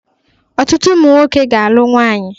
Ọtụtụ ụmụ nwoke ga-alụ nwaanyị